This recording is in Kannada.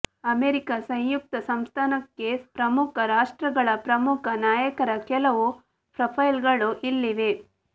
ಅಮೆರಿಕಾ ಸಂಯುಕ್ತ ಸಂಸ್ಥಾನಕ್ಕೆ ಪ್ರಮುಖ ರಾಷ್ಟ್ರಗಳ ಪ್ರಮುಖ ನಾಯಕರ ಕೆಲವು ಪ್ರೊಫೈಲ್ಗಳು ಇಲ್ಲಿವೆ